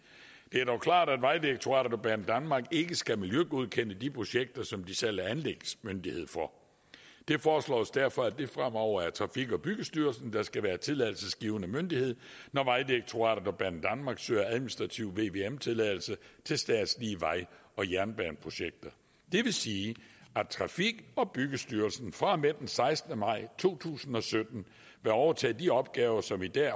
det er dog klart at vejdirektoratet og banedanmark ikke skal miljøgodkende de projekter som de selv er anlægsmyndighed for det foreslås derfor at det fremover er trafik og byggestyrelsen der skal være tilladelsesgivende myndighed når vejdirektoratet og banedanmark søger administrativ vvm tilladelse til statslige vej og jernbaneprojekter det vil sige at trafik og byggestyrelsen fra og med den sekstende maj to tusind og sytten vil overtage de opgaver som i dag